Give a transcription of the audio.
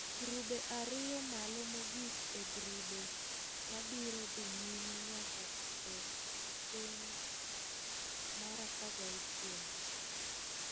Grube ariyo malo mogik e grube ma biro dhi nyime nyaka e okeng mar 16.